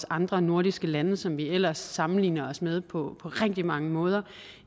andre nordiske lande som vi ellers sammenligner os med på rigtig mange måder